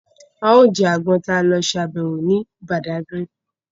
A ó jẹ àgbọn tí a lọ ṣe àbẹ̀wò ní Bàdágírì